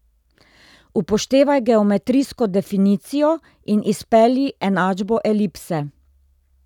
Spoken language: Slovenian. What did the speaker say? Upoštevaj geometrijsko definicijo in izpelji enačbo elipse.